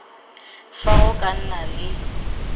fa go ka nna le